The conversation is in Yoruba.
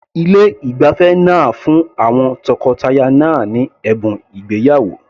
Ilé ìgbafẹ́ náà fún àwọn tọkọtaya náà ní ẹ̀bùn ìgbéyàwó.